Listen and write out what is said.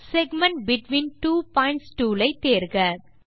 segment between two points tool ஐ தேர்க